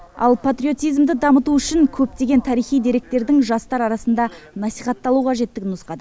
ал патриотизмді дамыту үшін көптеген тарихи деректің жастар арасында насихатталуы қажеттігін нұсқады